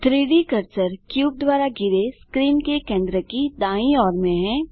3Dकर्सर cube द्वारा घिरे screen के केंद्र की दायीं ओर में है